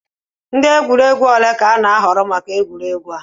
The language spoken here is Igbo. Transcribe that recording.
Ndị egwuregwu ole ka a ga-ahọrọ maka egwuregwu a?